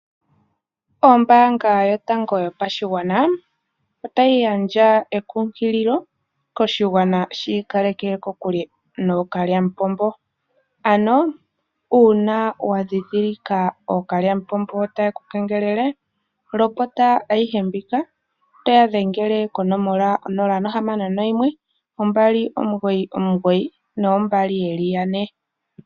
Ombaanga yotango yopashigwana otayi gandja ekunkililo koshigwana shi ikaleke kokule nookalyamupombo, ano uuna wa dhidhilika ookalyamupombo taye ku kengelele lopota ayihe mbika. Toya dhengele konomola 0612992222.